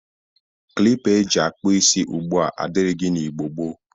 Klipa e ji akpọ isi ugbu a adịrịghị n'Igbo gboo.